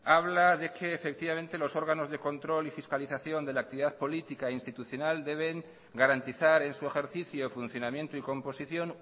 habla de que efectivamente los órganos de control y fiscalización de la actividad política e institucional deben garantizar en su ejercicio o funcionamiento y composición